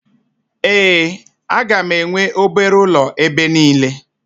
Ee, a ga-enwe obere ụlọ ebe niile